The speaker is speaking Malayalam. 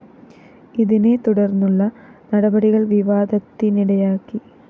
ഇതിനെ തുടര്‍ന്നുള്ള നടപടികള്‍ വിവാദത്തിനിടയാക്കി